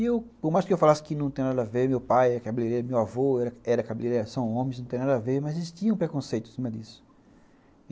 E eu, por mais que eu falasse que não tem nada a ver, meu pai é cabeleireiro, meu avô era cabeleireiro, são homens, não tem nada a ver, mas existia um preconceito em cima disso.